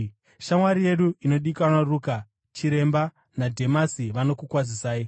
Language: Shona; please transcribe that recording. Shamwari yedu inodikanwa Ruka, chiremba, naDhemasi vanokukwazisai.